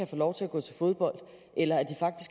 få lov til at gå til fodbold eller